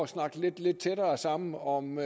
snakke lidt lidt tættere sammen om